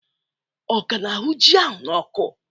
Ọ ka na-ahụ ji ahụ n'ọkụ?